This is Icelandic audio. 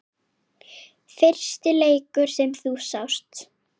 Fyrsti leikur sem þú sást?